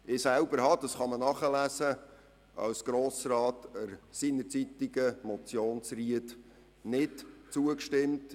Ich selber stimmte seinerzeit als Grossrat der Motion Zryd nicht zu.